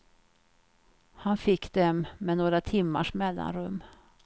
Han fick dem med några timmars mellanrum.